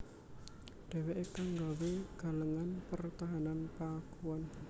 Dhèwèké kang nggawé galengan pertahanan Pakuan